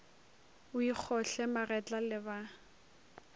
o ikgohle magetla le ba